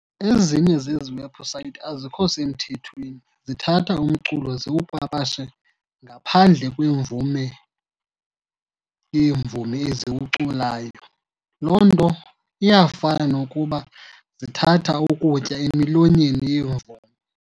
Ezinye zezi webhusayithi azikho semthethweni, zithatha umculo ziwupapashe ngaphandle kwemvume yeemvumi eziwuculayo. Loo nto iyafana nokuba zithatha ukutya emilonyeni yeemvumi.